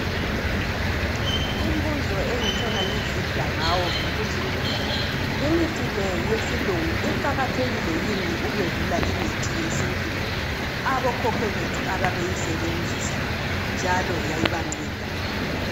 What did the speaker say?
Umbuzo engitshona ngizidla ngawo yikuthi imithi le yesilungu iqakathekile yini ukwedlula imithi yethu eyesintu abokhokho bethu babeyisebenzisa njalo yayibanceda.